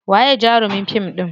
Waye jarumin fim ɗin?